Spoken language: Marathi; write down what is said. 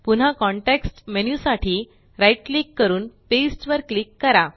पुन्हा कॉन्टेक्स्ट मेन्यु साठी right क्लिक करून पास्ते वर क्लिक करा